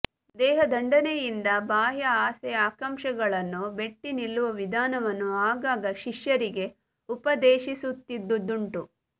ದೇಹದಂಡನೆಯಿಂದ ಬಾಹ್ಯ ಆಸೆ ಆಕಾಂಕ್ಷೆಗಳನ್ನು ಮೆಟ್ಟಿನಿಲ್ಲುವ ವಿಧಾನವನ್ನು ಆಗಾಗ ಶಿಷ್ಯರಿಗೆ ಉಪದೇಶಿ ಸುತ್ತಿದ್ದುದುಂಟು